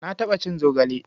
Na taɓa cin zogale.